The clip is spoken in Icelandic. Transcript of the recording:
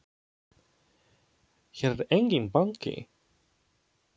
Hér er enginn banki!